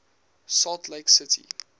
salt lake city